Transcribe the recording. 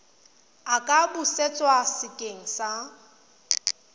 a ka busetswa sekeng sa